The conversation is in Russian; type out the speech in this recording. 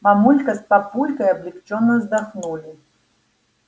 мамулька с папулькой облегчённо вздохнули